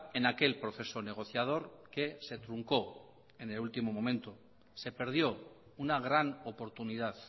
en aquel proceso negociador que se truncó en el último momento se perdió una gran oportunidad